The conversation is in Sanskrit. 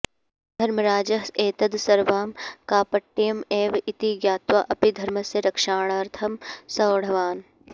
धर्मराजः एतद् सर्वं कापट्यम् एव इति ज्ञात्वा अपि धर्मस्य रक्षणार्थं सोढवान्